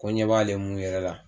Ko ɲɛ b'ale mun yɛrɛ la